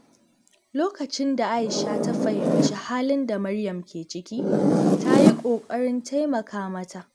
Lokacin da Aisha ta fahimci halin da Maryam ke ciki, ta yi ƙoƙarin taimaka mata.